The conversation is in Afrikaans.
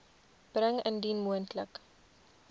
bring indien moontlik